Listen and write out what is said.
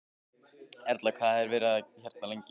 Erla: Hvað verðið þið hérna lengi?